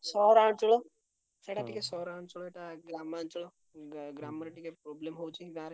ସହରାଞ୍ଚଳ ସେଇଟା ଟିକେ ସହରାଞ୍ଚଳଟା ଗ୍ରାମାଞ୍ଚଳ ଟିକେ problem ହଉଛି ଗାଁରେ।